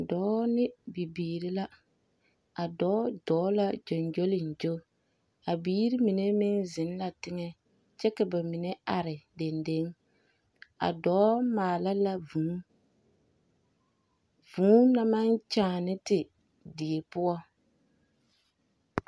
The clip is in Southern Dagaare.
Dͻͻ ne bibiiri la, a dͻͻ dͻͻŋ la gyoŋgyoliŋgyo, a biiri mine meŋ zeŋ la teŋԑ, kyԑ ka ba mine are dendeŋ, a dͻͻ maala la vũũ. Vũũ na maŋ kyaana te die poͻ.